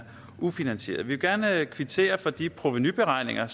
ufinansieret vi vil gerne kvittere for de provenuberegninger